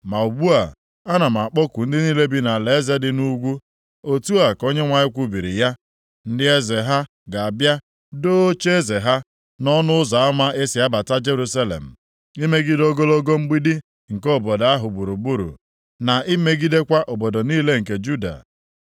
Ma ugbu a, ana m akpọku ndị niile bi nʼalaeze dị nʼugwu,” otu a ka Onyenwe anyị kwubiri ya. “Ndị eze ha ga-abịa doo ocheeze ha nʼọnụ ụzọ ama e si abata Jerusalem, imegide ogologo mgbidi nke obodo ahụ gburugburu, na imegidekwa obodo niile nke Juda.